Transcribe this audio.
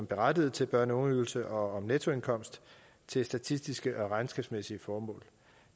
berettiget til børne og ungeydelsen og om nettoindkomst til statistiske og regnskabsmæssige formål